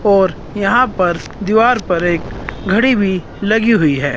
और यहां पर दीवार पर एक घड़ी भी लगी हुई है।